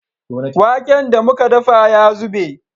Waken da muka dafa ya zube